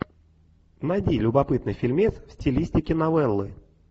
найди любопытный фильмец в стилистике новеллы